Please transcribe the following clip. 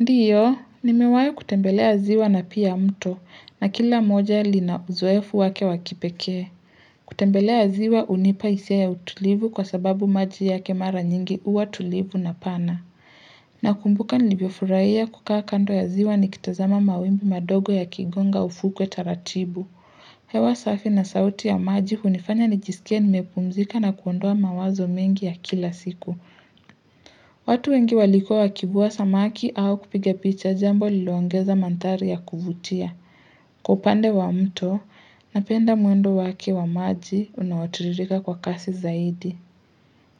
Ndiyo, nimewai kutembelea ziwa na pia mto, na kila moja lina uzoefu wake wa kipekee. Kutembelea ziwa hunipa hisia ya utulivu kwa sababu maji yake mara nyingi huwa tulivu na pana. Nakumbuka nilivyofurahia kukaa kando ya ziwa nikitazama mawimbi madogo yakigonga ufukwe taratibu. Hewa safi na sauti ya maji hunifanya nijisikie nimepumzika na kuondoa mawazo mengi ya kila siku. Watu wengi walikuwa wakivua samaki au kupiga picha jambo lililoongeza manthari ya kuvutia. Kwa upande wa mto, napenda mwendo wake wa maji unaotiririka kwa kasi zaidi.